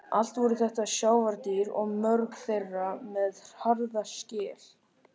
Allt voru þetta sjávardýr og mörg þeirra með harða skel.